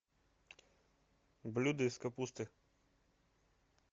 блюда из капусты